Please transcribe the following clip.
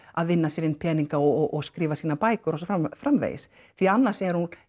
að vinna sér inn peninga og skrifa sínar bækur og svo framvegis því annars